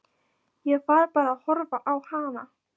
Ég var bara að horfa á hana.